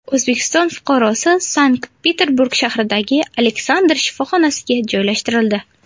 O‘zbekiston fuqarosi Sankt-Peterburg shahridagi Aleksandr shifoxonasiga joylashtirildi.